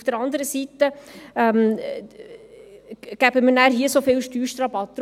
Auf der anderen Seite geben wir so viel Steuerrabatt.